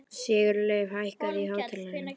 Sigurleif, hækkaðu í hátalaranum.